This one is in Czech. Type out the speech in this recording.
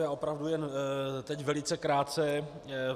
Já opravdu jen teď velice krátce.